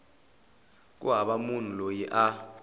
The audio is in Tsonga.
ku hava munhu loyi a